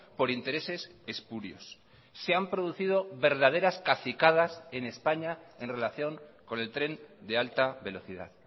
por intereses espurios se han producido verdaderas cacicadas en españa en relación con el tren de alta velocidad